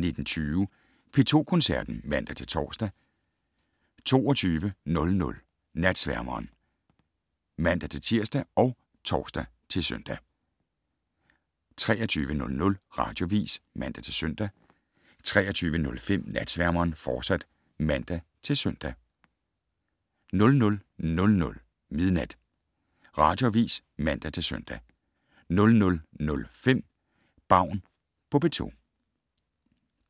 19:20: P2 Koncerten (man-tor) 22:00: Natsværmeren (man-tir og tor-søn) 23:00: Radioavis (man-søn) 23:05: Natsværmeren, fortsat (man-søn) 00:00: Radioavis (man-søn) 00:05: Baun på P2 *